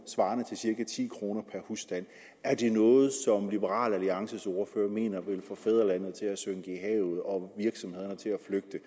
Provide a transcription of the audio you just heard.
svarende til cirka ti kroner per husstand er det noget som liberal alliances ordfører mener vil få fædrelandet til at synke i havet og virksomhederne til at flygte